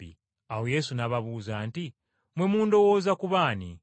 Awo Yesu n’ababuuza nti, “Mmwe mundowooza kuba ani?”